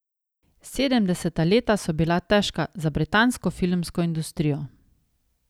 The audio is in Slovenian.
Sedemdeseta leta so bila težka za britansko filmsko industrijo.